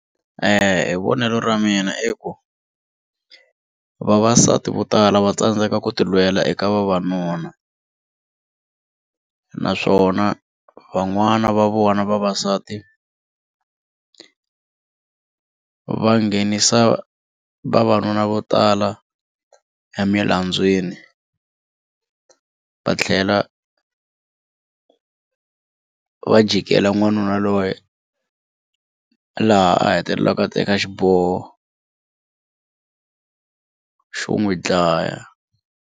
Hi vonelo ra mina i ku vavasati vo tala va tsandzeka ku ti lwela eka vavanuna naswona van'wana va vona vavasati va nghenisa vavanuna vo tala va tlhela va jikeli n'wanuna loyi laha a hetelelaka a teka xiboho xo n'wi dlaya.